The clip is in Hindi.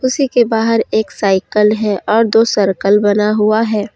उसी के बाहर एक साइकल है और दो सर्कल बना हुआ है।